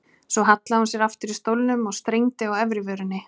Svo hallaði hún sér aftur í stólnum og strengdi á efri vörinni.